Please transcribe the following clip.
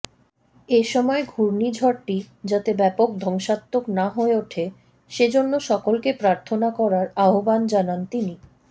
এসময় ঘূর্ণিঝড়টি যাতে ব্যাপক ধ্বংসাত্মক না হয়ে ওঠে সেজন্য সকলকে প্রার্থনা করার আহ্বান জানান তিনি